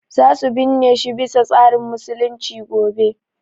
Za su binne shi bi sa tsarin musulunci gobe